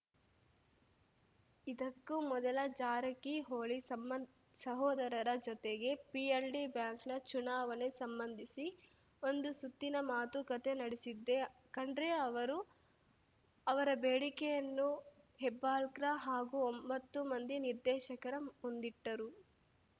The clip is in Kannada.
ಇದಕ್ಕೂ ಮೊದಲು ಜಾರಕಿಹೊಳಿ ಸಂ ಸಹೋದರರ ಜೊತೆಗೆ ಪಿಎಲ್‌ಡಿ ಬ್ಯಾಂಕ್‌ನ ಚುನಾವಣೆಗೆ ಸಂಬಂಧಿಸಿ ಒಂದು ಸುತ್ತಿನ ಮಾತುಕತೆ ನಡೆಸಿದ್ದೆ ಖಂಡ್ರೆ ಅವರು ಅವರ ಬೇಡಿಕೆಯನ್ನು ಹೆಬ್ಬಾಳ್ಕರ್‌ ಹಾಗೂ ಒಂಬತ್ತು ಮಂದಿ ನಿರ್ದೇಶಕರ ಮುಂದಿಟ್ಟರು